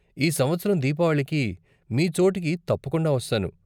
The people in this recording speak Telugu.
ఈ సంవత్సరం దీపావళికి మీ చోటుకి తప్పకుండా వస్తాను.